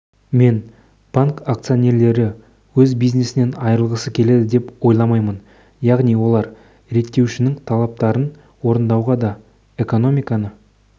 мен банк акционерлері өз бизнесінен айырылғысы келеді деп ойламаймын яғни олар реттеушінің талаптарын орындауға да экономиканы